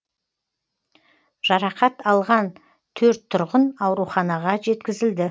жарақат алған төрт тұрғын ауруханаға жеткізілді